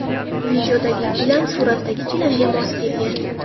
Videodagi gilam suratdagi gilamga mos kelgan.